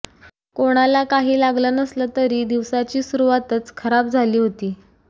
कोणाला काही लागलं नसलं तरी दिवसाची सुरूवातच खराब झाली होती